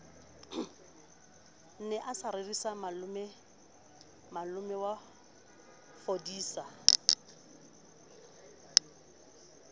ne a sa rerisa malomafodisa